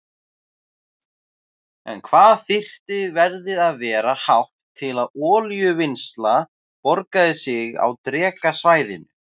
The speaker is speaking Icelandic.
En hvað þyrfti verðið að vera hátt til að olíuvinnsla borgaði sig á Drekasvæðinu?